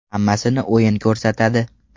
Hammasini o‘yin ko‘rsatadi.